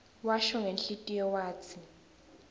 washo ngenhlitiyo watsi